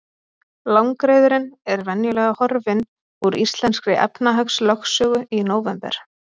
Langreyðurin er venjulega horfin úr íslenskri efnahagslögsögu í nóvember.